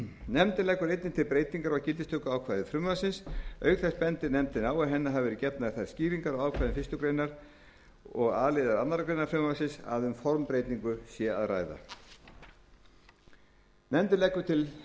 nefndin leggur einnig til breytingu á gildistökuákvæði frumvarpsins auk þess bendir nefndin á að henni hafa verið gefnar þær skýringar á ákvæðum fyrstu grein og a liðar annarrar greinar frumvarpsins að um formbreytingu sé að ræða nefndin leggur til að frumvarpið verði